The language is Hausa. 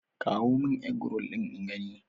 Kawo mun Eggroll ɗin in gani!